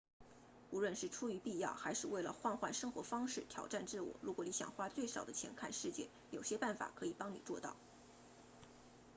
无论是出于必要还是为了换换生活方式挑战自我如果你想花最少的钱看世界有些办法可以帮你做到